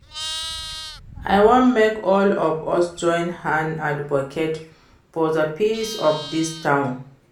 I wan make all of us join hand advocate for the peace of dis town